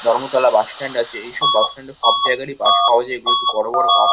ধর্মতলায় বাসস্ট্যান্ড আছে এইসব বাস স্ট্যান্ডে সব জায়গারই বাস পাওয়া যায়। এগুলো হচ্ছে বড় বড় বাস।